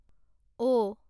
অ'